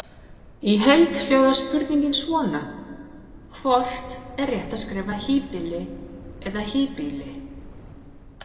Í heild hljóðar spurningin svona: Hvort er rétt að skrifa híbýli eða hýbýli?